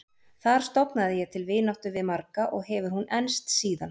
Þar stofnaði ég til vináttu við marga og hefur hún enst síðan.